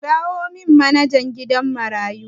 Kiramin manajan gidan marayun nan